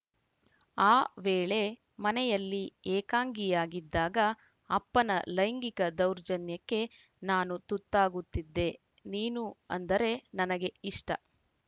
ಆ ವೇಳೆ ಮನೆಯಲ್ಲಿ ಏಕಾಂಗಿಯಾಗಿದ್ದಾಗ ಅಪ್ಪನ ಲೈಂಗಿಕ ದೌರ್ಜನ್ಯಕ್ಕೆ ನಾನು ತುತ್ತಾಗುತ್ತಿದ್ದೆ ನೀನು ಅಂದರೆ ನನಗೆ ಇಷ್ಟ